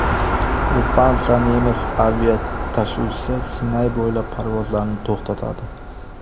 Lufthansa nemis aviatashuvchisi Sinay bo‘ylab parvozlarni to‘xtatadi.